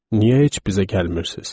Niyə heç bizə gəlmirsiniz?